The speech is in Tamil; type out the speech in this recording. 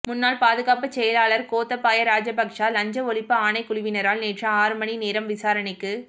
முன்னாள் பாதுகாப்புச் செயலாளர் கோத்தாபய ராஜபக்ச லஞ்ச ஒழிப்பு ஆணைக் குழுவினரால் நேற்று ஆறு மணி நேரம் விசாரணைக்கு